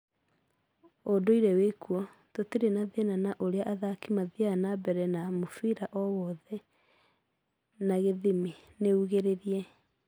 Ũũnduire wĩkuo, tũtirĩ na thĩna na ũrĩa athaki mathiaga na mbere na mũbira o wothe, na githĩmi" niũngereire.